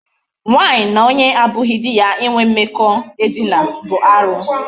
Nwaanyị na onye abụghị di ya inwe mmekọ edina bụ arụ.